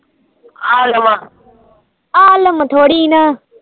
ਆਲਮ ਥੋਰੀ ਨਾ